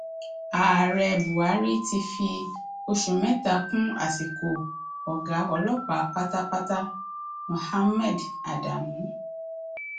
ààrẹ buhari ti fi oṣù mẹta kún àsìkò ọgá ọlọpàá pátápátá muhammed adamu